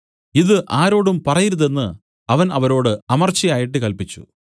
ഇതു ആരോടും പറയരുതെന്ന് അവൻ അവരോട് അമർച്ചയായിട്ട് കല്പിച്ചു